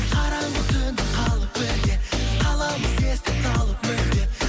қараңғы түнде қалып бірге қаламыз естен талып мүлде